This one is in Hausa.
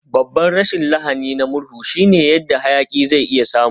Babban rashin lahani na murhu shine yadda hayaki zai iya samu.